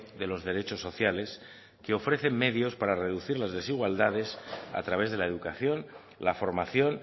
de los derechos sociales que ofrecen medios para reducir las desigualdades a través de la educación la formación